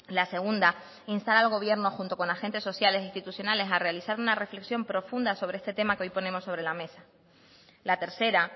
la segunda instar al gobierno junto con agentes sociales e institucionales a realizar una reflexión profunda sobre este tema que hoy ponemos sobre la mesa la tercera